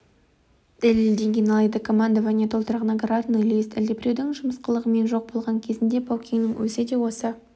дәлелденген алайда командование толтырған наградной лист әлдебіреудің жымысқылығымен жоқ болған кезінде баукеңнің өзі де осы